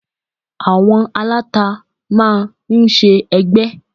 Àwọn aláta máa ń ṣe ẹgbẹ́